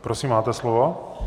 Prosím máte slovo.